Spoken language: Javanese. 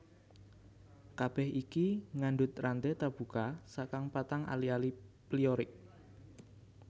Kabèh iki ngandhut ranté tarbuka saka patang ali ali pyrrolic